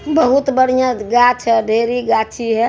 बहुत बढ़ियां गाछ है ढेरी गाछी है।